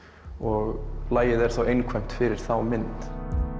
og lagið er þá einkvæmt fyrir þá mynd